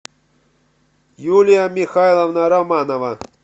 юлия михайловна романова